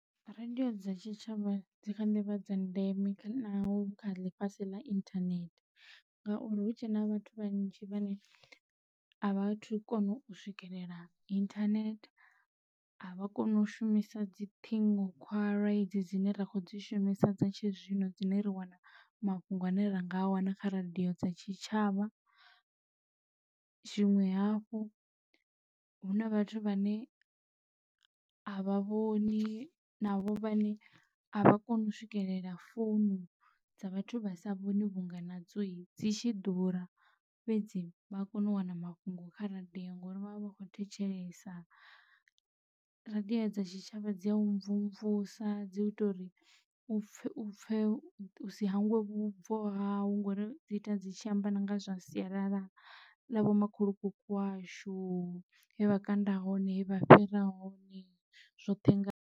Radio dza tshitshavha dzikha ḓivha dza ndeme kha naho hu kha ḽifhasi ḽa internet ngauri hu tshe na vhathu vhanzhi vhane a vhathu kona u swikelela internet avha koni u shumisa dzi ṱhingokhwalwa dzine ra kho dzi shumisa dza tshizwino dzine ra wana mafhungo ane ra nga a wana kha radio dza tshitshavha. Tshiṅwe hafhu huna vhathu vhane avha vhoni na vho vhane a vha koni u swikelela founu dza vhathu vha sa vhoni vhunga na dzo dzi tshi ḓura fhedzi vha kone u wana mafhungo kha radiyo ngauri vha vha vha kho thetshelesa radio dza tshitshavha dzi a u mvumvusa dzi ita uriu pfhe pfhe usi hangwe vhubvo hawe ngori dzi ita dzi tshi amba na nga zwa sialala ḽa vho makhulukuku washu he vha kanda hone he vha fhira hone zwoṱhe nga.